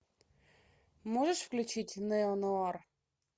можешь включить нео нуар